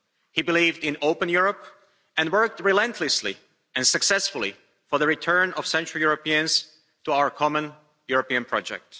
He believed in an open Europe and worked relentlessly and successfully for the return of central Europeans to our common European project.